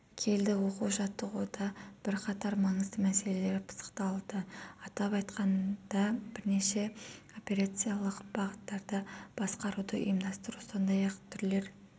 келді оқу-жаттығуда бірқатар маңызды мәселелер пысықталды атап айтқанда бірнеше операциялық бағыттарда басқаруды ұйымдастыру сондай-ақ түрлер